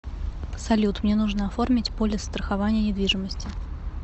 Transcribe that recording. салют мне нужно оформить полис страхования недвижимости